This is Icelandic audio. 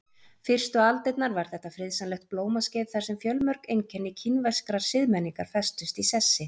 Fyrstu aldirnar var þetta friðsamlegt blómaskeið þar sem fjölmörg einkenni kínverskrar siðmenningar festust í sessi.